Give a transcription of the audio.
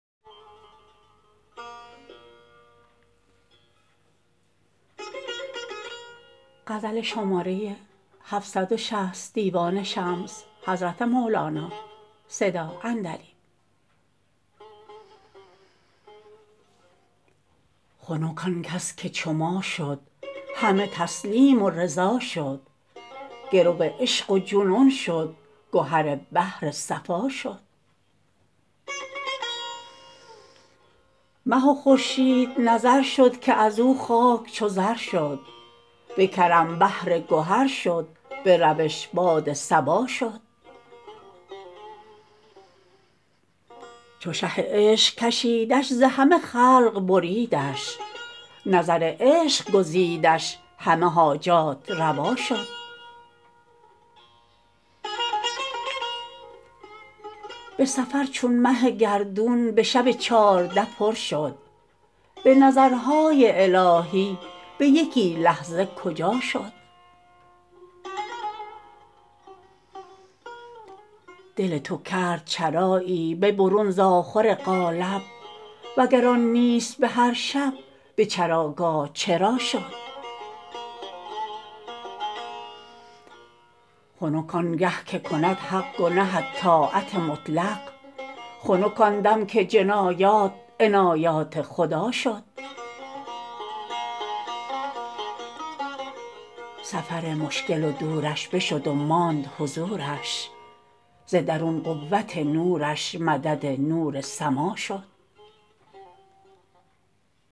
خنک آن کس که چو ما شد همه تسلیم و رضا شد گرو عشق و جنون شد گهر بحر صفا شد مه و خورشید نظر شد که از او خاک چو زر شد به کرم بحر گهر شد به روش باد صبا شد چو شه عشق کشیدش ز همه خلق بریدش نظر عشق گزیدش همه حاجات روا شد به سفر چون مه گردون به شب چارده پر شد به نظرهای الهی به یکی لحظه کجا شد دل تو کرد چرایی به برون ز آخر قالب وگر آن نیست به هر شب به چراگاه چرا شد خنک آن گه که کند حق گنهت طاعت مطلق خنک آن دم که جنایات عنایات خدا شد سفر مشکل و دورش بشد و ماند حضورش ز درون قوت نورش مدد نور سما شد